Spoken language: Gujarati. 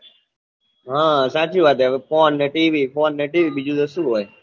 હમ સાચી વાત હવે phone ને TV phone ને tv બીજું તો શું હોય